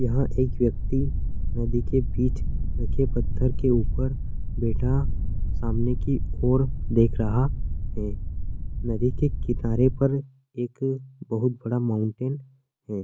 यहाँ एक व्यक्ति नदी के बीच रखे पत्थर के ऊपर बैठा सामने की ओर देख रहा है नदी के किनारे पर एक बहुत बड़ा माउंटेन है।